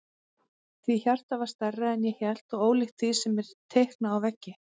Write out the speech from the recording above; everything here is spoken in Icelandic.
Því hjartað var stærra en ég hélt og ólíkt því sem er teiknað á veggi.